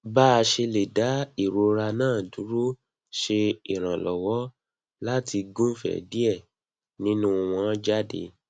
bá ṣe lè dá ìrora náà dúró ṣe ìrànlọ́wọ́ láti gùnfẹ́ díẹ̀ nínú wọn jáde